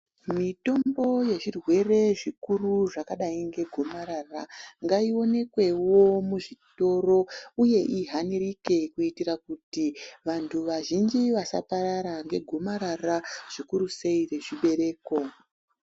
Mutombo yezvirwere zvikuru zvakadai ngegomarara remuchibereko ngaiwanikewo muzvitoro uye ihanirike kuitira kuti vandu vazhinji vasparara ngegomarara zvikuru sei rezvibereko